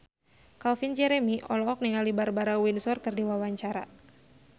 Calvin Jeremy olohok ningali Barbara Windsor keur diwawancara